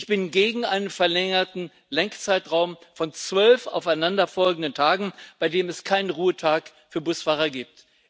Ich bin gegen einen verlängerten Lenkzeitraum von zwölf aufeinanderfolgenden Tagen, bei dem es keinen Ruhetag für Busfahrer gibt.